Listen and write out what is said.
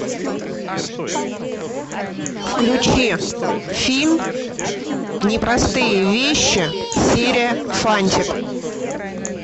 включи фильм непростые вещи серия фантик